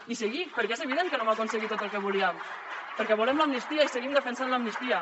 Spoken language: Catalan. i seguir perquè és evident que no hem aconseguit tot el que volíem perquè volem l’amnistia i seguim defensant l’amnistia